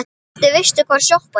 Hvernig veistu hvar sjoppan er?